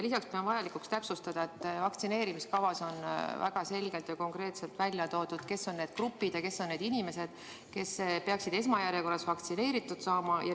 Lisaks pean vajalikuks täpsustada, et vaktsineerimiskavas on väga selgelt ja konkreetselt välja toodud, kes on need grupid ja kes on need inimesed, kes peaksid esmajärjekorras vaktsineeritud saama.